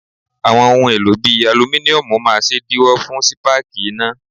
Àwọn ohun èlò bíi alumíníọ́nù máa ṣèdíwọ́ fún spáàkì iná.